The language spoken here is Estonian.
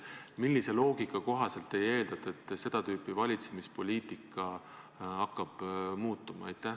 Millise loogika kohaselt te eeldate, et seda tüüpi valitsemispoliitika hakkab muutuma?